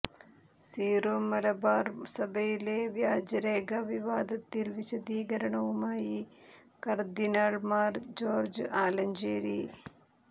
Syro Malabar സഭയിലെ വ്യാജരേഖാ വിവാദത്തിൽ വിശദീകരണവുമായി കർദ്ദിനാൾ മാർ ജോർജ് ആലഞ്ചേരി